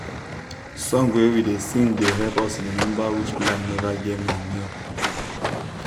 song wey we da sing da help us remember which plant never get manure